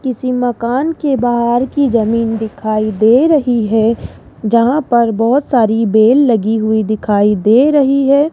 किसी मकान के बाहर की जमीन दिखाई दे रही है जहां पर बहोत सारी बेल लगी हुई दिखाई दे रही है।